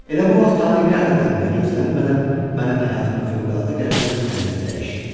Elə bu vaxt tale qəflətən və gözlənilmədən mənim həyatımı fövqəladə qəribə bir tərzdə dəyişdi.